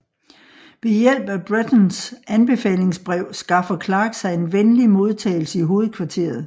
Ved hjælp af Brettons anbefalingsbrev skaffer Clark sig en venlig modtagelse i hovedkvarteret